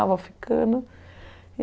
Ah, vou ficando.